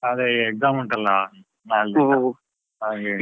ಅದೇ exam ಉಂಟಲ್ಲ ನಾಳ್ದಿಂದ ಹಾಗೆ.